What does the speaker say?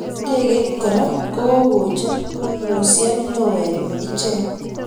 Ndegeit kora kokojer musiet neoo eng icheng.